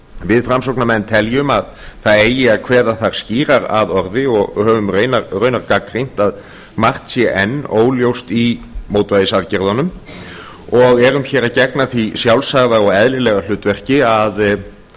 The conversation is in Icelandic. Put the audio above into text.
við framsóknarmenn teljum að það eigi að kveða þar skýrar að orði og höfum raunar gagnrýnt að margt sé enn óljóst í mótvægisaðgerðunum og erum hér að gegna því sjálfsagða og eðlilega hlutverki